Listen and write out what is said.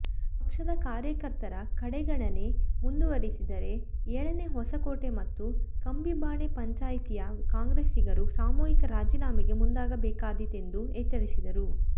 ಪಕ್ಷದ ಕಾರ್ಯಕರ್ತರ ಕಡೆಗಣನೆ ಮುಂದುವರಿದರೆ ಏಳನೇ ಹೊಸಕೋಟೆ ಮತ್ತು ಕಂಬಿಬಾಣೆ ಪಂಚಾಯ್ತಿಯ ಕಾಂಗ್ರೆಸ್ಸಿಗರು ಸಾಮೂಹಿಕ ರಾಜೀನಾಮೆಗೆ ಮುಂದಾಗಬೇಕಾದೀತೆಂದು ಎಚ್ಚರಿಸಿದರು